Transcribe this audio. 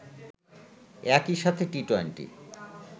একই সাথে টি-টোয়েন্টি